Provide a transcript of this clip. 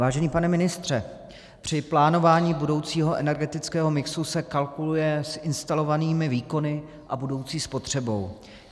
Vážený pane ministře, při plánování budoucího energetického mixu se kalkuluje s instalovanými výkony a budoucí spotřebou.